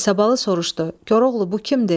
İsabalı soruşdu: Koroğlu, bu kimdir?